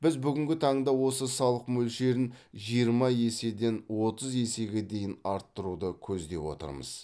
біз бүгінгі таңда осы салық мөлшерін жиырма еседен отыз есеге дейін арттыруды көздеп отырмыз